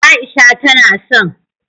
Aisha tana son